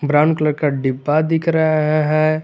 Brown colour का डिब्बा दिख रहा है है।